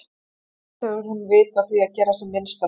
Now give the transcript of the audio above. Annars hefur hún vit á að gera sem minnst af því.